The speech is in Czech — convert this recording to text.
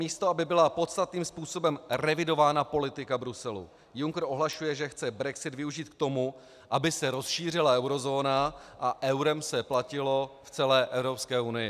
Místo aby byla podstatným způsobem revidována politika Bruselu, Juncker ohlašuje, že chce brexit využít k tomu, aby se rozšířila eurozóna a eurem se platilo v celé Evropské unii.